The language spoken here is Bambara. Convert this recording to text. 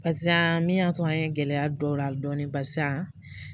Barisa min y'a to an ye gɛlɛya don o la dɔɔnin barisa